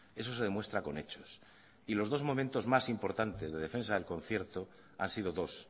eso se demuestra con hechos y los dos momentos más importantes de defensa del concierto han sido dos